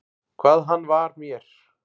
Hvað hann var mér.